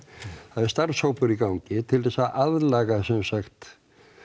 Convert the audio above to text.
það er starfshópur í gangi til þess að aðlaga semsagt